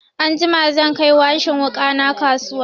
Anjima zan kai washin wuƙa na kasuwa.